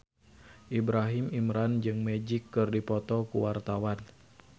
Ibrahim Imran jeung Magic keur dipoto ku wartawan